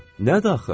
Nədir axı?